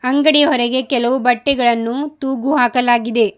ಅಂಗಡಿ ಹೊರಗೆ ಕೆಲವು ಬಟ್ಟೆಗಳನ್ನು ತೂಗು ಹಾಕಲಾಗಿದೆ.